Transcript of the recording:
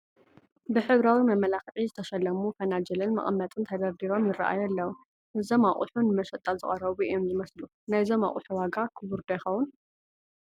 ብሕብራዊ መመላክዒ ዝተሸለሙ ፈናጅልን መቐመጥን ተደርዲሮም ይርአዩ ኣለዉ፡፡ እዞም ኣቑሑ ንመሸጣ ዝቐረቡ እዮም ዝመስሉ፡፡ ናይዞም ኣቑሑ ዋጋ ክቡር ዶ ይኸውን?